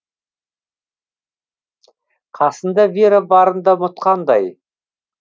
қасында вера барын да ұмытқандай